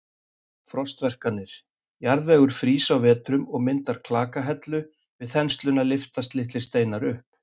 Frostverkanir: Jarðvegur frýs á vetrum og myndar klakahellu, við þensluna lyftast litlir steinar upp.